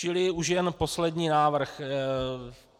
Čili už jen poslední návrh.